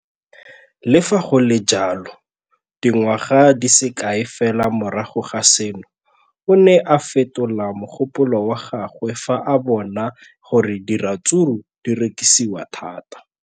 Le fa go le jalo, dingwaga di se kae fela morago ga seno, o ne a fetola mogopolo wa gagwe fa a bona gore diratsuru di rekisiwa thata.